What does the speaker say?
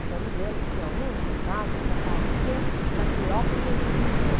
Então, me lembro que tinha um fantasma que aparecia na Cleopatra's Needle.